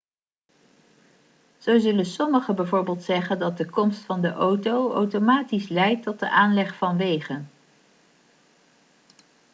zo zullen sommigen bijvoorbeeld zeggen dat de komst van de auto automatisch leidt tot de aanleg van wegen